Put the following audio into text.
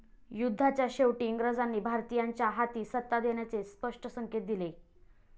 युद्धाच्या शेवटी इंग्रजांनी भारतीयांच्या हाती सत्ता देण्याचे स्पष्ट संकेत दिले.